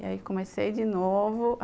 E aí comecei de novo.